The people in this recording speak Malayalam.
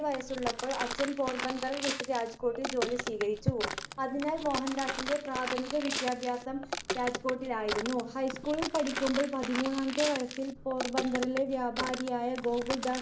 വയസ്സുള്ളപ്പോൾ അച്ഛൻ പോർബന്ദർ വിട്ട് രാജ്‌കോട്ടിൽ ജോലി സ്വീകരിച്ചു. അതിനാൽ മോഹൻദാസിന്റെ പ്രാഥമിക വിദ്യാഭ്യാസം രാജ്‌കോട്ടിലായിരുന്നു. ഹൈസ്കൂളിൽ പഠിക്കുമ്പോൾ പതിമൂന്നാമത്തെ വയസ്സിൽ പോർബന്തറിലെ വ്യാപാരിയായ ഗോകുൽദാസ്